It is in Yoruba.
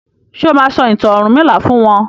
ṣe o ma sọ ìtàn ọrunmila fún wón?